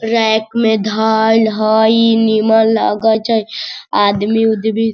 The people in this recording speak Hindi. रैक में धाइल हई नीमन लगे छै आदमी-उदमी --